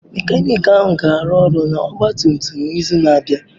Mekaniki ahụ ga-arụ ọrụ n'ọgba tum tum n'izu na-abịa